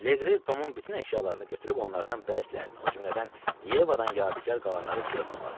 Legri Tomun bütün əşyalarını götürüb onlardan bəzilərini, o cümlədən Yevadan yadigar qalanları suya tulladı.